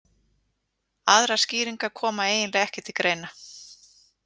Aðrar skýringar koma eiginlega ekki til greina.